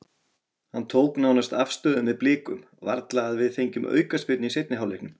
Hann tók nánast afstöðu með Blikum, varla að við fengjum aukaspyrnu í seinni hálfleiknum.